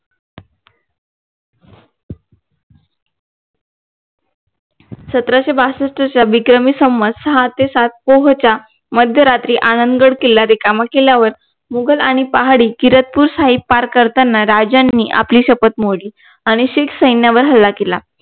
सतराशे बासष्टच्या विक्रमी संवाद सहा ते सात पोह च्या मध्यरात्री आनंदगड किल्ला रिकामा केल्यावर मुघल आणि पहाडी किरतपूर साहिब पार करताना राजांनी आपली शपत मोडली आणि शीख सैन्यावर हल्ला केला